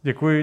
Děkuji.